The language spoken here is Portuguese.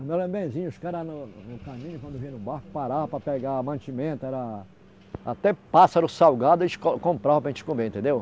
Me lembro benzinho, os caras no caminho, quando vinha no barco, parava para pegar mantimento, era... Até pássaro salgado eles compravam para a gente comer, entendeu?